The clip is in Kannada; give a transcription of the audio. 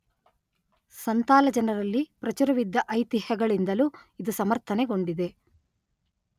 ಸಂತಾಲ ಜನರಲ್ಲಿ ಪ್ರಚುರವಿದ್ದ ಐತಿಹ್ಯಗಳಿಂದಲೂ ಇದು ಸಮರ್ಥನೆಗೊಂಡಿದೆ.